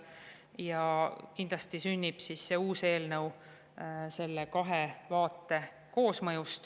Ja kindlasti sünnib see uus eelnõu selle kahe vaate koosmõjul.